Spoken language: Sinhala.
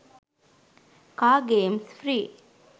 car games free